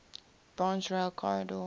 branch rail corridor